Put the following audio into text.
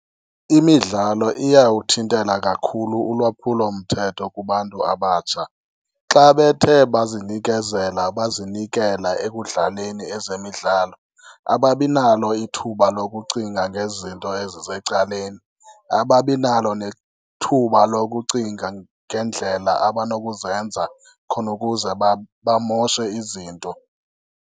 Imidlalo iyawuthintela kakhulu ulwaphulo mthetho kubantu abatsha, xa bethe bazinikezela bazinikela ekudlaleni ezemidlalo ababinalo ithuba lokucinga ngezinto ezisecaleni. Ababi nalo nethuba lokucinga ngeendlela abanokuzenza khona ukuze bamoshe izinto.